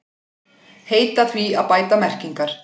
Heita því að bæta merkingar